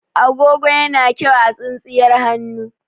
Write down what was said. Agogo yana kyau a tsintsiyar hannu.